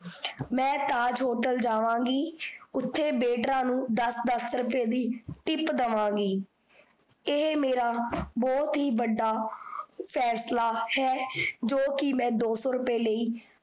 ਮੈਂ ਤਾਜ ਹੋਟਲ ਜਾਵਾਂਗੀ ਓਥੇ ਵੇਟਰਾਂ ਨੂੰ ਦੱਸ ਦੱਸ ਰੁਪਏ ਦੀ tip ਦੇਵਾਂਗੀ। ਏਹੇ ਮੇਰਾ ਬਹੁਤ ਹੀ ਬੜਾ ਫੈਂਸਲਾ ਹੈ ਜੋ ਕੀ ਮੈਂ ਦੋਸੋ ਰੁਪਏ ਲਈ